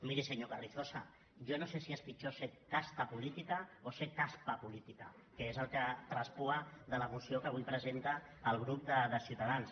miri senyor carrizosa jo no sé si és pitjor ser casta política o ser caspa política de la moció que avui presenta el grup de ciutadans